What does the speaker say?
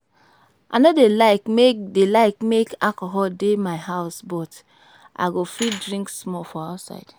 I no dey like make dey like make alcohol dey my house but I go fit drink small for outside